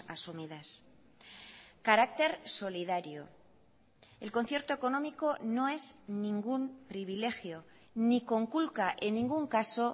asumidas carácter solidario el concierto económico no es ningún privilegio ni conculca en ningún caso